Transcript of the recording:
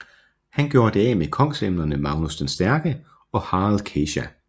Han gjorde det af med kongsemnerne Magnus den Stærke og Harald Kesja